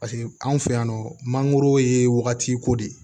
Paseke anw fɛ yan nɔ mangoro ye wagatiko de ye